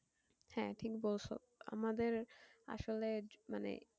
হ্যাঁ ঠিক বলছো আমাদের আসলে মানে